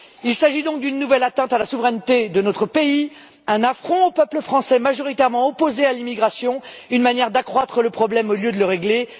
Il s'agit donc d'une nouvelle atteinte à la souveraineté de notre pays, d'un affront au peuple français, majoritairement opposé à l'immigration, et d'une manière d'accroître le problème au lieu de le régler.